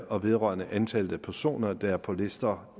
og vedrørende antallet af personer der er på lister